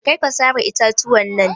Karka sare itatuwan nan.